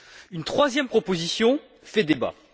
Une troisième proposition fait débat.